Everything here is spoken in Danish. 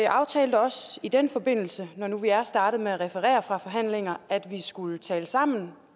aftalte også i den forbindelse når nu vi er startet med at referere fra forhandlingerne at vi skulle tale sammen